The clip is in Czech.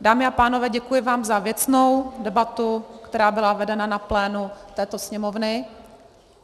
Dámy a pánové, děkuji vám za věcnou debatu, která byla vedena na plénu této Sněmovny.